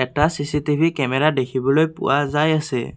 টা CCTV camera দেখিবলৈ পোৱা যায় আছে।